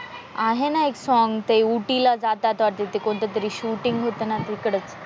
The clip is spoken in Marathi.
आहे ना एक सोंग ते उटी ला जातात वाटत ते कोणतं तरी शूटिंग होत ना तिकडचं.